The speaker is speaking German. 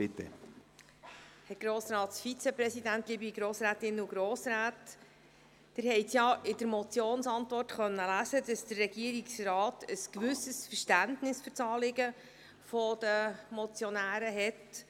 Sie haben in der Motionsantwort lesen können, dass der Regierungsrat ein gewisses Verständnis für das Anliegen der Motionäre hat.